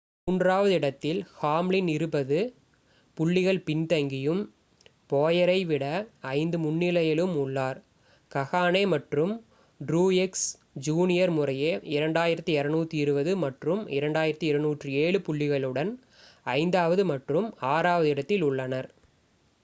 மூன்றாவது இடத்தில் ஹாம்லின் இருபது புள்ளிகள் பின்தங்கியும் போயரை விட ஐந்து முன்னிலையிலும் உள்ளார் கஹ்னே மற்றும் ட்ரூயெக்ஸ் ஜூனியர் முறையே 2,220 மற்றும் 2,207 புள்ளிகளுடன் ஐந்தாவது மற்றும் ஆறாவது இடத்தில் உள்ளனர்